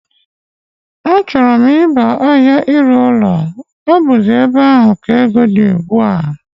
Á chọrọ m ịba ahia ire ụlọ, ọ buzi ébé áhù ka égo dị ùgbúà